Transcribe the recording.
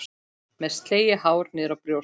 Með slegið hár niðrá brjóst.